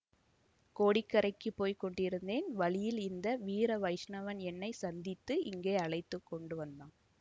கோடிக்கரைக்குப் போய் கொண்டிருந்தேன் வழியில் இந்த வீர வைஷ்ணவன் என்னை சந்தித்து இங்கே அழைத்து கொண்டு வந்தான்